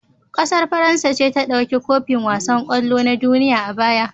ƙasar faransa ce ta dauki kofin wasan kwallo na duniya a baya